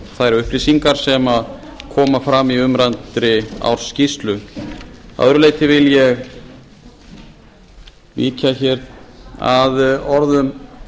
þær upplýsingar sem koma fram í umræddri ársskýrslu að öðru leyti vil ég víkja hér að orðum